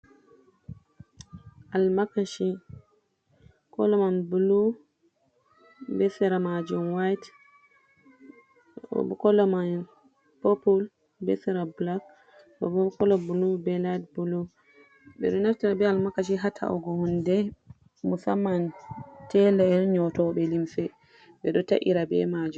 Almakaci kolo man bulu be sera maajum wayit, ɗo bo kolo may popul be sera bulak, ɗo bo kolo bulu be layit bulu. Ɓe ɗo naftira be almakaci, haa ta'ugo hunde musamman teela'en nyootoɓe limse, ɓe ɗo ta’ira be maajum.